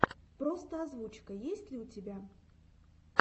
просто озвучка есть ли у тебя